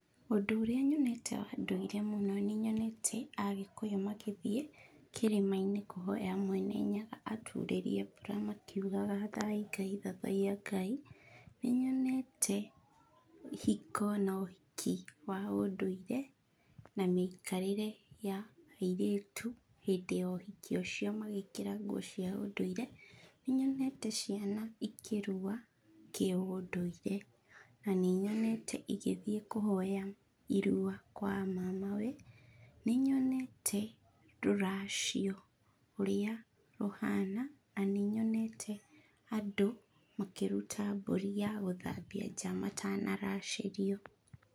Ũndũ ũrĩa nyonete wa ndũire mũno, nĩnyonete Agĩkũyũ makĩthiĩ Kĩrĩma-inĩ kũhoya Mwene Nyaga aturĩrie mbura makiugaga, Thai, Thathaiya Ngai. Nĩnyonete ihiko na ũhiki wa ũndũire na mĩikarĩre ya airĩtu hindĩ ya ũhiki ũcio magĩkĩra nguo cia ũndũire. Nĩnyonete ciana ikĩrua kĩũndũire. Na nĩnyonete igĩthiĩ kũhoya irua kwa a mamawe. Nĩnyonete rũracio ũria rũhana, na nĩnyonete andũ makĩruta mburi ya gũthambia nja matanaracĩrio.